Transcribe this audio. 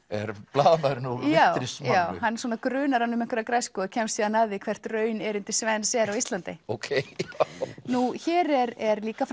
blaðamaðurinn úr Wintris já hann grunar hann um einhverja græsku og kemst síðan að því hvert raun erindi Svens er á Íslandi nú hér er er líka